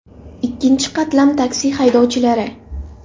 Ikkinchi qatlam, taksi haydovchilari .